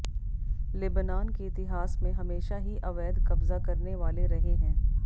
Lebanon के इतिहास में हमेशा ही अवैध क़ब्ज़ा करने वाले रहे हैं